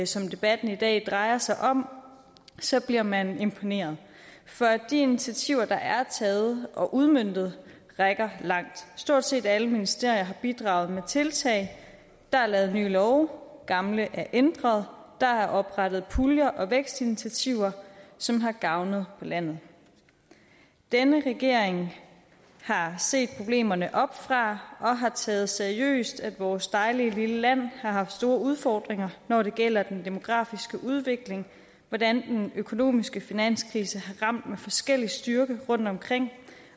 som debatten i dag drejer sig om bliver man imponeret for de initiativer der er taget og udmøntet rækker langt stort set alle ministerier har bidraget med tiltag der er lavet nye love gamle ændret og der er oprettet puljer og vækstinitiativer som har gavnet på landet denne regering har set problemerne oppefra og har taget seriøst at vores dejlige lille land har haft store udfordringer når det gælder den demografiske udvikling hvordan den økonomiske finanskrise har ramt med forskellig styrke rundtomkring